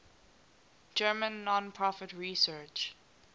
german non profit research